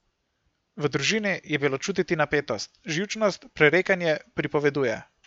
V družini je bilo čutiti napetost, živčnost, prerekanje, pripoveduje.